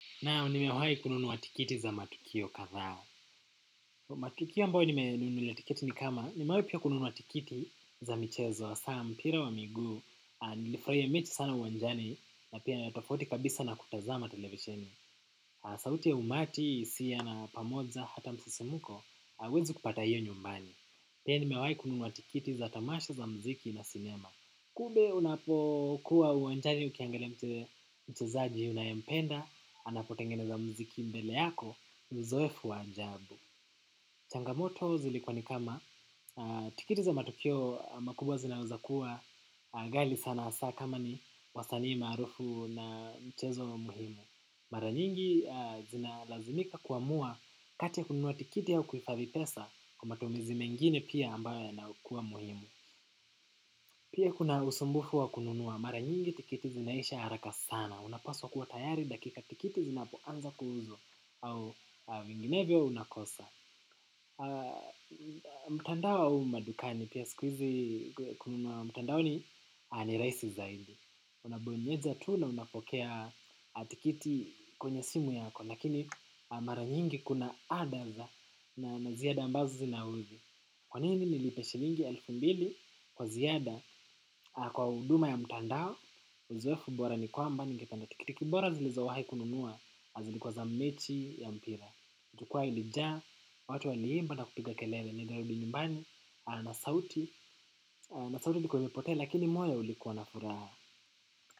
Naam, nimewai kununua tikiti za matukio kadhaa. Matukio ambayo nimenunulia ni kama nimewai kununua tikiti za michezo hasaa za mpira wa miguu, nilifurahia mechi sana uwanjani, na pia tofauti kabisa na kutazama televisheni. Sauti ya umati, hisia na pamoja, hata msisimuko, huwezi kupata hiyo nyumbani. Pia nimewai kununua wa tikiti za tamasha za mziki na sinema. Kumbe unapokuwa uwanjani ukiangelia mchezaji unayempenda, anapotengeneza mziki mbele yako, mzoefu wa ajabu. Changamoto zilikuwa ni kama tikiti za matukio makubwa zinaweza kuwa ghali sana hasaa kama ni wasanii maarufu na mchezo muhimu. Mara nyingi zinalazimika kuamua kati y kununua tikiti au kuhifadhi pesa kwa matumizi mengine pia ambayo yanayokuwa muhimu. Pia kuna usumbufu wa kununua mara nyingi tikiti zinaisha haraka sana. Unapaswa kuwa tayari dakika tikiti zinapoanza kuuzwa au vinginevyo unakosa. Mtandao au madukani pia sikuizi kununua mtandaoni ni rahisi zaidi. Unabonyeza tu na unapokea tikiti kwenye simu yako. Lakini mara nyingi kuna hada na ziada ambazo zina uzi. Kwa nini nilipe shilingi elfu mbili kwa ziada kwa huduma ya mtandao uzoefu bora ni kwamba ningependa tikitiki bora zilizowahi kununua zilikuwa za mechi ya mpira. Jukwaa ilijaa watu waliimba na kupiga kelele nilirudi nyumbani na sauti ilikuwa imepotea lakini moyo ulikuwa na furaha.